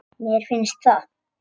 Mér finnst það.